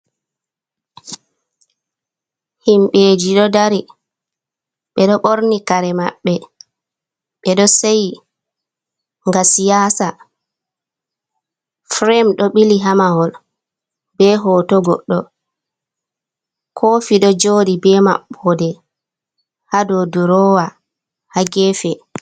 Himbeji ɗo dari ɓeɗo borni kare maɓɓe ɓeɗo seyi nga siyasa firem do bili ha mahol be hoto goɗɗo kofi do joɗi be mabbode ha do durowa ha gefe.